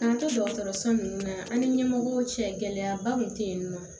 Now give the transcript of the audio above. K'an to dɔgɔtɔrɔso nunnu na an ni ɲɛmɔgɔw cɛ gɛlɛyaba tun tɛ yen nɔ